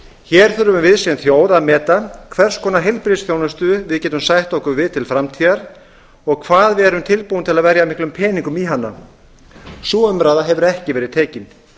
hér þurfum við sem þjóð að meta hvers konar heilbrigðisþjónustu við getum sætt okkur við til framtíðar og hvað við erum tilbúin til að verja miklum peningum í hana sú umræða hefur ekki verið tekin